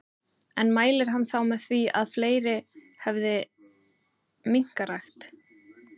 En mælir hann þá með því að fleiri hefði minkarækt?